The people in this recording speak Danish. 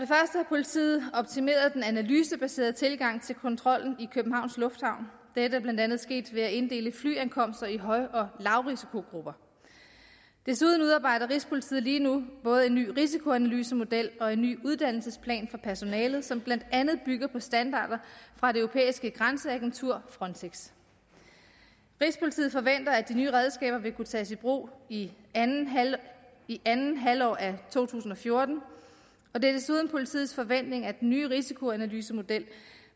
politiet optimeret den analysebaserede tilgang til kontrollen i københavns lufthavn dette er blandt andet sket ved at inddele flyankomster i høj og lavrisikogrupper desuden udarbejder rigspolitiet lige nu både en ny risikoanalysemodel og en ny uddannelsesplan for personalet som blandt andet bygger på standarder fra det europæiske grænseagentur frontex rigspolitiet forventer at de nye redskaber vil kunne tages i brug i andet halvår af to tusind og fjorten og det er desuden politiets forventning at den nye risikoanalysemodel